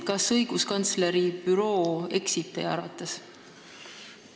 Kas õiguskantsleri büroo eksib teie arvates?